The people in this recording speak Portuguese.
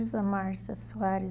Márcia Soares